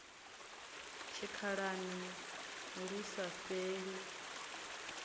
tshikhalani lu sa fheli i